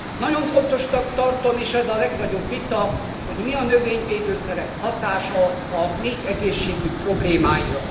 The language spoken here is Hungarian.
Nagyon fontosnak tarom, és ez a legnagyobb vita, hogy mi a növényvédőszerek hatása a méhegészségügy problémáira.